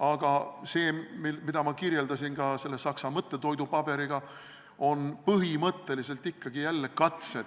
Aga see, millele ma viitasin sellest Saksa mõttetoidupaberist rääkides, on põhimõtteliselt ikkagi jälle katse